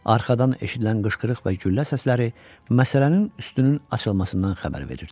Arxadan eşidilən qışqırıq və güllə səsləri məsələnin üstünün açılmasından xəbər verirdi.